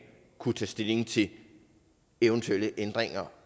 kunne tage stilling til eventuelle ændringer